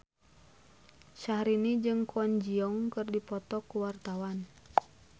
Syahrini jeung Kwon Ji Yong keur dipoto ku wartawan